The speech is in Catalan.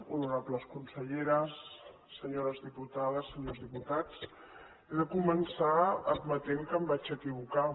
honorables conselleres senyores diputades senyors diputats he de començar admetent que em vaig equivocar